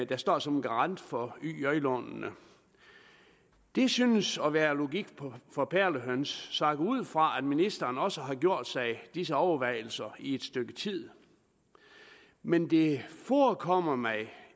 der står som garant for yj lånene det synes at være logik for perlehøns så jeg går ud fra at ministeren også har gjort sig disse overvejelser i et stykke tid men det forekommer mig